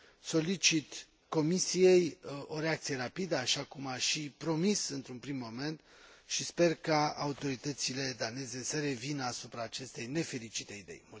Solicit Comisiei o reacție rapidă, așa cum a și promis într un prim moment, și sper ca autoritățile daneze să revină asupra acestei nefericite idei.